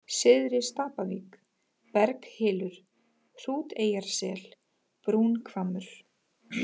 Syðri-Stapavík, Berghylur, Hrúteyjarsel, Brúnhvammur